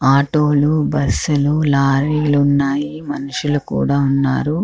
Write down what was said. Auto లు bus లు lorry లు ఉన్నాయి మనుసులు కూడా ఉన్నారు.